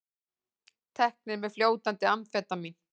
Teknir með fljótandi amfetamín